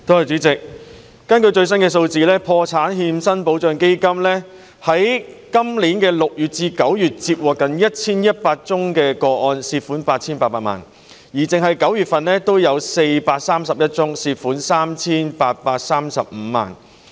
主席，根據最新數字，破產欠薪保障基金在今年6月至9月接獲近1100宗個案，涉及的款項達 8,800 萬元，單是9月就有431宗，涉及 3,835 萬元。